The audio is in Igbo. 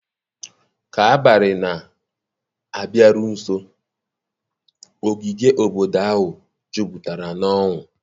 ka abalị na-abịaru nso, ogige obodo ahụ jupụtara n'ọṅụ.